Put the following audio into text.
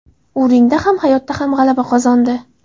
U ringda ham, hayotda ham g‘alaba qozondi.